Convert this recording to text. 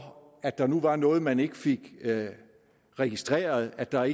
at der nu var noget man ikke fik registreret at der